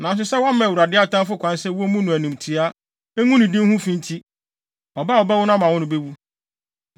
Nanso sɛ woama Awurade atamfo kwan sɛ wommu no animtiaa, ngu ne din ho fi nti, ɔba a wɔbɛwo no ama wo no bewu.”